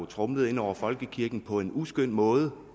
tromlet hen over folkekirken på en uskøn måde